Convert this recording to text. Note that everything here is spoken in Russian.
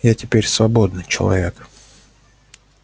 я теперь свободный человек